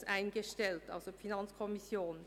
] Fonds […] eingestellt.», also die FiKo.